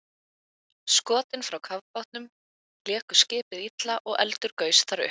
Skotin frá kafbátnum léku skipið illa og eldur gaus þar upp.